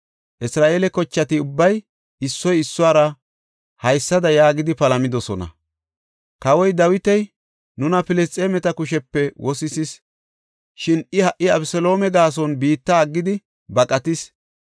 Isra7eele kochati ubbay issoy issuwara haysada yaagidi palamidosona; “Kawoy Dawiti nuna nu morketa kushepe ashshis; nuna Filisxeemeta kushepe wosisis; shin I ha77i Abeseloome gaason biitta aggidi baqatis.